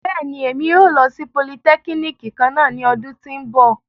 Bẹ́ẹ̀ni, Emi yóò lo si polìtẹkínikì kanna ni ọdun ti n bọ.